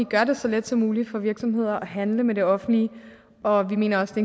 gør det så let som muligt for virksomheder at handle med det offentlige og vi mener også det